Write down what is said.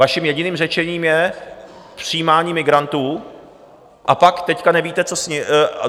Vaším jediným řešením je přijímání migrantů a pak teď nevíte, co s nimi...